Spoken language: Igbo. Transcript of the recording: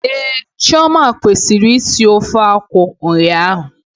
Ehhh, Chioma kwesịrị isi ofe akwụ ụnyaahụ